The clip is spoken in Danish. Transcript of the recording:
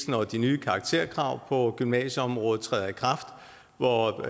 når de nye karakterkrav på gymnasieområdet træder i kraft og